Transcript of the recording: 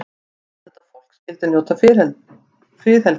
Allt þetta fólk skyldi njóta friðhelgi.